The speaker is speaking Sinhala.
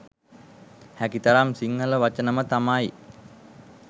හැකි තරම් සිංහල වචනම තමයි